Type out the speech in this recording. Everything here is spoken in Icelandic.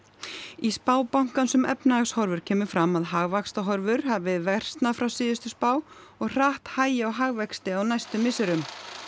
í spá bankans um efnahagshorfur kemur fram að hagvaxtarhorfur hafi versnað frá síðustu spá og hratt hægi á hagvexti á næstu misserum